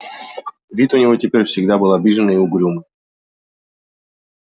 вид у него теперь всегда был обиженный и угрюмый